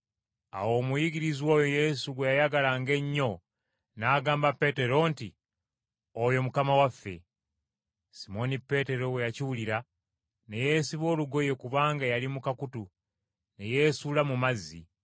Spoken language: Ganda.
Awo omuyigirizwa oyo Yesu gwe yayagalanga ennyo n’agamba Peetero nti, “Oyo Mukama waffe!” Simooni Peetero bwe yakiwulira ne yeesiba olugoye kubanga yali mu kakutu, ne yeesuula mu mazzi.